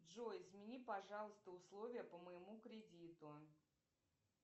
джой измени пожалуйста условия по моему кредиту